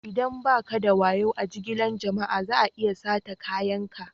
Idan ba ka da wayo a jigilan jama'a, za'a iya sata kayakin ka.